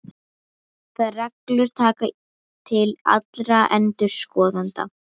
Þær reglur taka til allra endurskoðenda.